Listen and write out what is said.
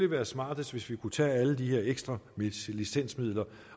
været smartest hvis vi kunne tage alle de her ekstra licensmidler